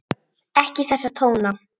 Ekki þessa tóna!